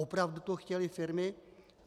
Opravdu to chtěly firmy?